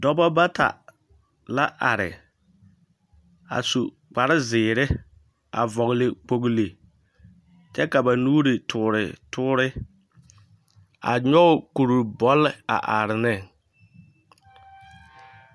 Dɔbɔ bata la are a su kpare zeere, a vɔgele kpogili kyɛ ka ba nuuri toore tore a nyɔge kuri bɔle a are ne.